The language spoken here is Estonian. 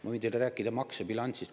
Ma võin teile rääkida maksebilansist.